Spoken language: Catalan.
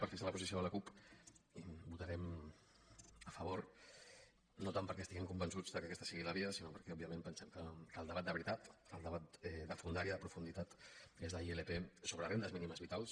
per fixar la posició de la cup hi votarem a favor no tant perquè estiguem convençuts que aquesta sigui la via sinó perquè òbviament pensem que el debat de veritat el debat de fondària de profunditat és la ilp sobre rendes mínimes vitals